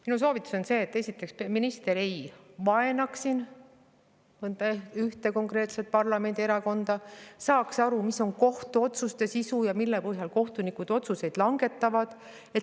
Minu soovitus on esiteks see, et minister ei vaenaks siin ühte konkreetset parlamendierakonda ning saaks aru, mis on kohtuotsuste sisu ja mille põhjal kohtunikud otsuseid langetavad.